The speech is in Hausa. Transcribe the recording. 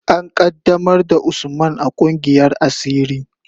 An qaddamar da Usman a kungiyar asiri.